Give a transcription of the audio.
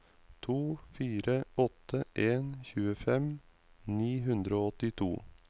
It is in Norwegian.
to fire åtte en tjuefem ni hundre og åttito